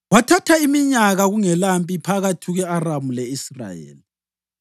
Kwathatha iminyaka kungelampi phakathi kwe-Aramu le-Israyeli.